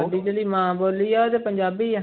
ਉਹਦੀ ਜਿਹੜੀ ਮਾਂ ਬੋਲੀ ਹੈ ਉਹ ਤੇ ਪੰਜਾਬੀ ਹੈ।